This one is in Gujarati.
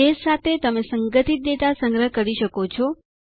બેઝ સાથે તમે સંગઠિત ડેટા સંગ્રહ કરી શકો છો